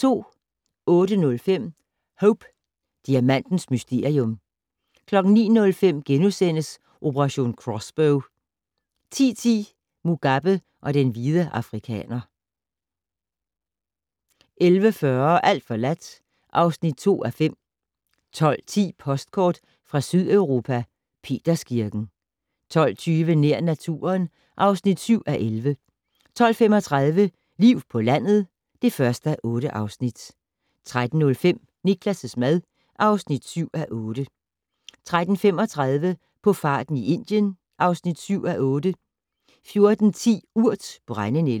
08:05: Hope Diamantens mysterium 09:05: Operation Crossbow * 10:10: Mugabe og den hvide afrikaner 11:40: Alt forladt (2:5) 12:10: Postkort fra Sydeuropa: Peterskirken 12:20: Nær naturen (7:11) 12:35: Liv på landet (1:8) 13:05: Niklas' mad (7:8) 13:35: På farten i Indien (7:8) 14:10: Urt: brændenælde